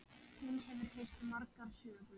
Hún hefur heyrt margar sögur.